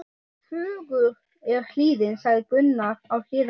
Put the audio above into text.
Fögur er hlíðin, sagði Gunnar á Hlíðarenda.